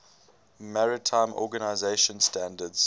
maritime organization standards